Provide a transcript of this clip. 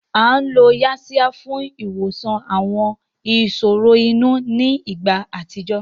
A lo Yaxiya fún ìwòsàn àwọn ìṣòro inú ní ìgbà àtijọ́